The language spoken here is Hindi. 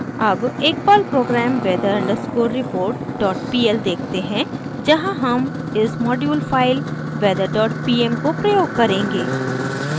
अब एक Perl program weather underscore report dot pl देखते हैं जहाँ हम इस module file weather dot pm को प्रयोग करेंगे